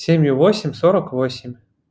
семью восемь сорок восемь